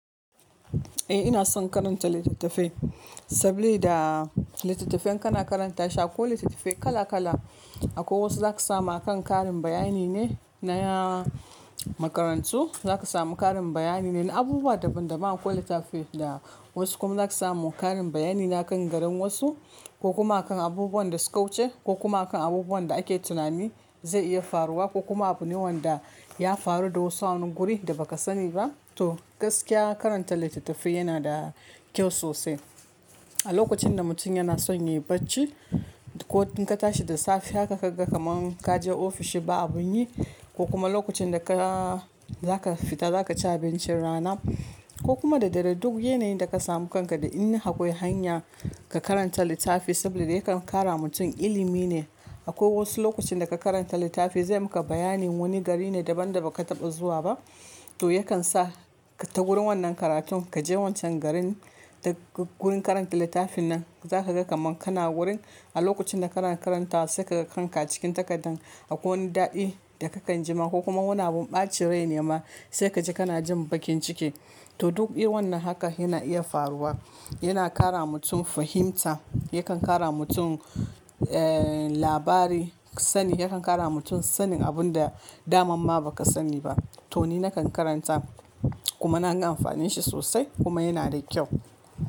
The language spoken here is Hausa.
Eh ina son karanta littattafai saboda littafin kana karanta shi akwai littattafai kala kala akwai wasu zaka samu akan karin bayani ne na makarantu zaka samu karin bayani ne na abubuwa daban daban akwai littattafai da wasu kuma zaka samu karin bayani na kan garin wasu ko kuma akan abubuwan da suka wuce ko kuma akan abubuwan da ake tunani zai iya faruwa ko kuma abune wanda ya faru da wasu a wani guri da ba ka sani ba to gaskiya karanta littattafai yana da kyau sosai. A lokacin da mutum yana son yi bacci ko in ka tashi da safe haka kaga kaman kaje ofishi ba abin yi ko kuma lokacin da ka zaka fita zaka ci abincin rana ko kuma da dare duk yanayin da ka samu kanka da in akwai hanya ka karanta littafi saboda yakan kara mutum ilimi ne akwai wasu lokuta da ka karanta littafi zai maka bayanin wani gari ne daban da baka taba zuwa ba to yakan sa ta wurin wannan karatun kaje wancan garin da wurin karanta littafin nan zaka ga kaman kana wurin a lokacin da kana karanta sai kaga kanka cikin takardan akwai wani dadi da kakan ji ma ko kuma wani abun bacin rai ne ma sai kaji kana jin bakin ciki to duk wannan haka yana iya faruwa yana kara mutum fahimta yakan kara mutum eh labari sani yakan kara mutum sanin abun da damamma baka sani ba to ni nakan karanta kuma na ga amfanin shi sosai kuma yana da kyau.